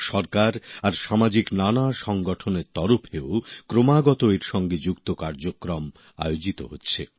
সরকার আর সামাজিক নানা সংগঠনের তরফেও এর সঙ্গে যুক্ত নানাধরণের কর্মসূচী আয়োজিত হচ্ছে